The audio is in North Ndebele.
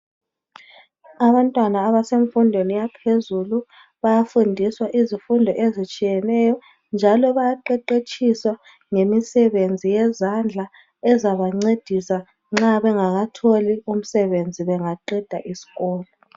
Abantwabna abasemfundweni yaphezulu bayafundiswa izifundo ezitshiyeneyo, njalo bayaqeqetshiswa ngamisebenzi yezandla ezabancedisa nxa bengakatholi umsebenzi bengaqeda iskolo.